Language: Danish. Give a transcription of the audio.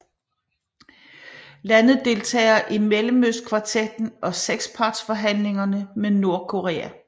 Landet deltager i Mellemøstkvartetten og sekspartsforhandlingerne med Nordkorea